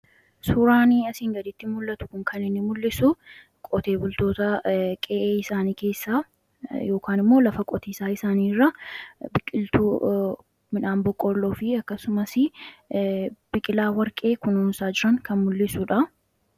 Suuraan asiin gaditti mul'atu kun kan inni mul'isu qotee bultoota qe'ee isaanii keessa immoo lafa qotiisaa isaanii irra biqiltuu midhaan boqqolloo fi akkasumas biqilaa warqee kununsaa jiran kan mul'isuudha.